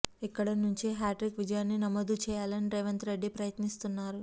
ఇక్కడి నుంచి హ్యాట్రిక్ విజయాన్ని నమోదు చేయాలని రేవంత్ రెడ్డి ప్రయత్నిస్తున్నారు